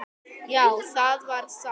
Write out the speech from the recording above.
Já, það var satt.